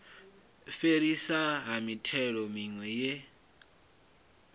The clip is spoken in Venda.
fhelisiwa ha mithelo miwe ye